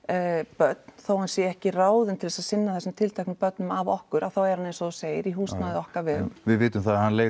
börn þó hann sé ekki ráðinn til þess að sinna þessum tilteknu börnum af okkur þá er hann eins og þú segir í húsnæði á okkar vegum við vitum